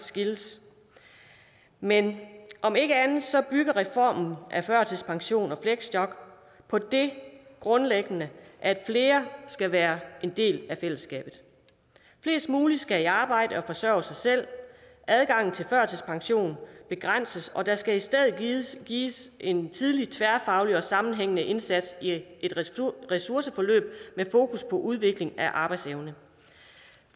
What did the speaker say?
skilles men om ikke andet så bygger reformen af førtidspension og fleksjob på det grundlæggende at flere skal være en del af fællesskabet flest muligt skal i arbejde og forsørge sig selv adgangen til førtidspension begrænses og der skal i stedet sættes ind med en tidlig tværfaglig og sammenhængende indsats i et ressourceforløb med fokus på udvikling af arbejdsevne